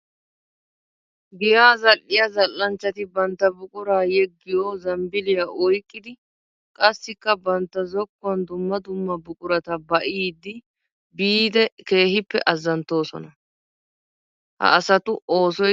Giya zali'iya zali'anchchatti bantta buqura yeggiyo zambbiliya oyqqiddi qassikka bantta zokuwan dumma dumma buquratta ba'iddi biide keehippe azanttosonna. Ha asattu oosoy keehippe nashiyooba!